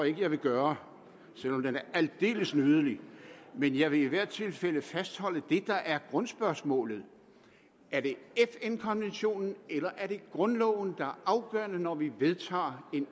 ikke jeg vil gøre den er aldeles nydelig men jeg vil i hvert tilfælde fastholde det der er grundspørgsmålet er det fn konventionen eller er det grundloven der er afgørende når vi vedtager